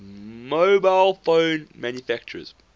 mobile phone manufacturers